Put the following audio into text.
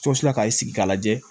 ka sigi ka lajɛ